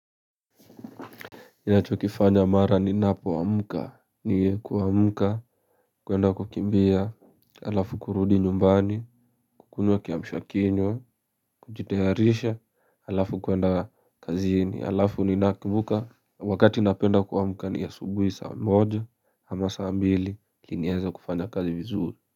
Ni nacho kifanya mara ni napomka ni kuamka kuenda kukimbia alafu kurudi nyumbani kukunywa kiamshwa kinywa kujitayarisha alafu kuenda kazi ni alafu ni nakivuka wakati napenda kuamuka ni asubuhi saa moja ama saa mbili nieza kufanya kazi vizuri.